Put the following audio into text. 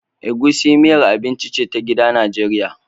Egusi miyar abinci ce ta gida Najeriya